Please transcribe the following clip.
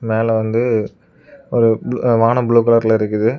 மேல வந்து ஒரு வானம் ப்ளூ கலர்ல இருக்குது.